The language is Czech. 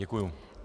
Děkuji.